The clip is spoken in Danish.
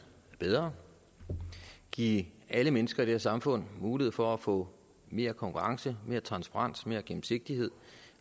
bedre give alle mennesker i det her samfund mulighed for at få mere konkurrence mere transparens mere gennemsigtighed